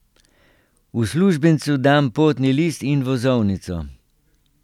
Uslužbencu dam potni list in vozovnico.